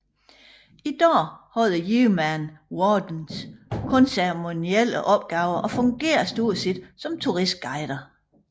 I dag har the Yeoman Wardens kun ceremonielle opgaver og fungerer stort set som turistguider